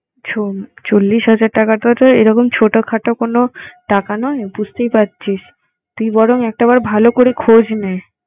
শোন, চল্লিশ হাজার টাকা তো এরকম ছোট খাটো কোন টাকা নয় বুঝতেই পারছিস। তুই বরং একটাবার ভাল করে খোঁজ নে।